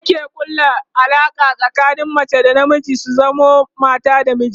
aure ke ƙulla Alaƙa tsakanin mace da na miji su zamo mata da miji